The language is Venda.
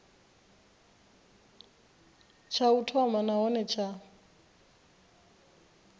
tsha u thoma nahone tsha